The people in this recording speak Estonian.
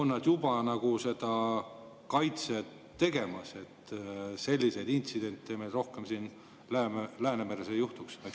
Kas nad on juba nagu seda kaitset tegemas, et selliseid intsidente meil rohkem siin Läänemeres ei juhtuks?